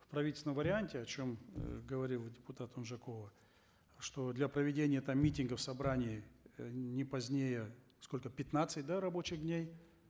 в правительственном варианте о чем э говорила депутат унжакова что для проведения там митингов собраний э не позднее сколько пятнадцать да рабочих дней